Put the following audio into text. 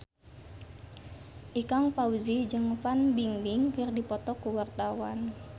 Ikang Fawzi jeung Fan Bingbing keur dipoto ku wartawan